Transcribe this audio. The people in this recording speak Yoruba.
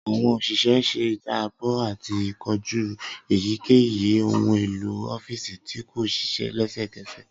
Awọn òṣìṣẹ̀ ṣe ijabọ ati koju eyikeyi ohun elo ọfiisi ti ko ṣiṣẹ lẹsẹkẹsẹ.